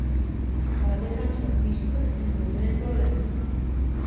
Faðir hans var þýskur en móðirin hollensk.